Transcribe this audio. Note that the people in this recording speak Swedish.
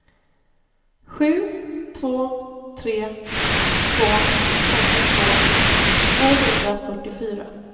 sju två tre två femtiotvå tvåhundrafyrtiofyra